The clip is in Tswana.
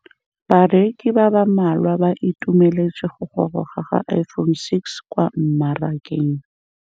Bareki ba ba malwa ba ituemeletse go gôrôga ga Iphone6 kwa mmarakeng.